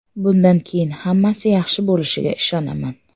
Bundan keyin hammasi yaxshi bo‘lishiga ishonaman”.